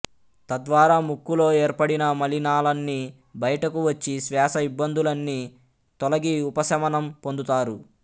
తద్వారా ముక్కులో ఏర్పడిన మలినాలన్నీ బయటకు వచ్చి శ్వాస ఇబ్బందులన్నీ తొలగి ఉపసమనం పొందుతారు